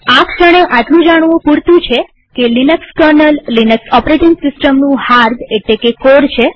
આ ક્ષણે આટલું જાણવું પુરતું છે કે લિનક્સ કર્નલ લિનક્સ ઓપરેટીંગ સિસ્ટમનું હાર્દ છે